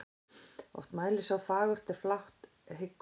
Oft mælir sá fagurt er flátt hyggur.